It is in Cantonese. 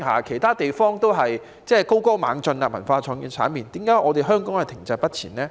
其他地方的文化創意產業都是高歌猛進，為何香港卻停滯不前呢？